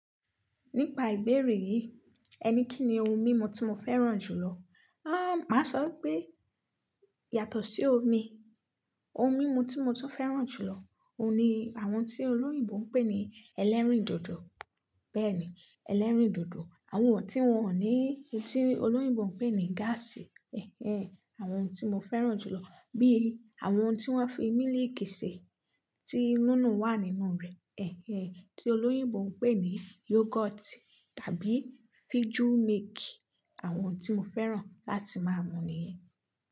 Nípa ìbéèrè yìí, ẹni kí ni ohun mímu tí mo fẹ́ràn jùlọ? Ah, màá sọ pé yàtọ̀ sí omi, ohun mímu tí mo tún fẹ́ràn jùlọ, òun ni àwọn tí olóyìnbo ń pè ní ẹlẹ́rìndòdò. Bẹ́ẹ̀ni, ẹlẹ́rìndòdò, àwọn eyí ti wọn ò ní, tí olóyìnbó ń pè ní gáàsì. Ẹ̀hẹn, àwọn tí mo fẹ́ràn jùlọ bíi àwọn tí wọ́n fi mílìkì ṣe tí núnu wà nínú rẹ̀. Ẹ̀hẹn, tí olóyìnbó ń pè ní yogoti tàbí fiju miiki. Àwọn tí mo fẹ́ràn láti máa mú nìyẹn.